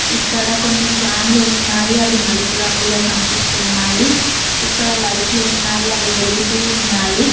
ఇక్కడ కొన్ని ఫ్యాన్లు ఉన్నాయి అవి నలుపు రంగులో కనిపిస్తున్నాయి ఇక్కడ లైట్లు ఉన్నాయి అవి వెలుగుతూ ఉన్నాయి.